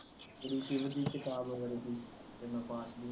ਲਿਖੀ ਸ਼ਿਵ ਦੀ ਕਿਤਾਬ ਵਰਗੀ ਇੰਨਾ ਪਾਠ